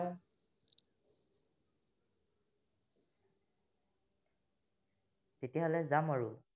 তেতিয়া হলে যাম আৰু